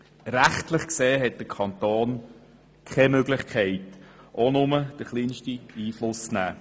Rechtlich gesehen hat der Kanton keine Möglichkeit, Einfluss zu nehmen.